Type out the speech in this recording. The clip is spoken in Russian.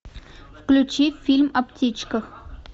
включи фильм о птичках